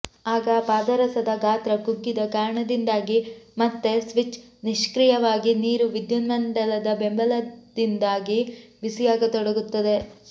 ಆಗ ಪಾದರಸದ ಗಾತ್ರ ಕುಗ್ಗಿದ ಕಾರಣದಿಂದಾಗಿ ಮತ್ತೆ ಸ್ವಿಚ್ ನಿಷ್ಕ್ರಿಯವಾಗಿ ನೀರು ವಿದ್ಯುನ್ಮಂಡಲದ ಬೆಂಬಲದಿಂದಾಗಿ ಬಿಸಿಯಾಗತೊಡಗುತ್ತದೆ